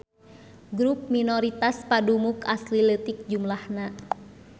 Grup minoritas padumuk asli leutik jumlahna.